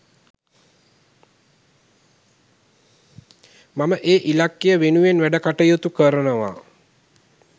මම ඒ ඉලක්කය වෙනුවෙන් වැඩකටයුතු කරනවා.